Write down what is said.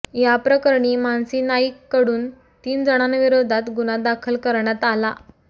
याप्रकरणी मानसी नाईककडून तीन जणांविरोधात गुन्हा दाखल करण्यात आला